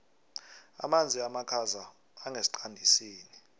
amanzi amakhaza angesiqandisini